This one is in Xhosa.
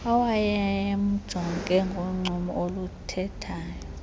owayemjonge ngoncumo oluthethayo